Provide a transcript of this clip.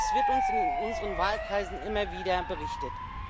Das wird uns in unseren Wahlkreisen immer wieder berichtet.